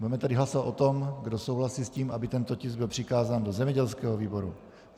Budeme tedy hlasovat o tom, kdo souhlasí s tím, aby tento tisk byl přikázán do zemědělského výboru.